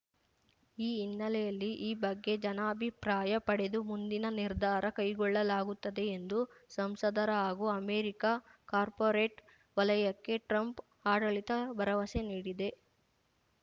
ಈ ಹಿನ್ನೆಲೆಯಲ್ಲಿ ಈ ಬಗ್ಗೆ ಜನಾಭಿಪ್ರಾಯ ಪಡೆದು ಮುಂದಿನ ನಿರ್ಧಾರ ಕೈಗೊಳ್ಳಲಾಗುತ್ತದೆ ಎಂದು ಸಂಸದರ ಹಾಗೂ ಅಮೆರಿಕ ಕಾರ್ಪೋರೇಟ್‌ ವಲಯಕ್ಕೆ ಟ್ರಂಪ್‌ ಆಡಳಿತ ಭರವಸೆ ನೀಡಿದೆ